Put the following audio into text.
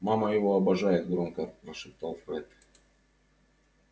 мама его обожает громко прошептал фред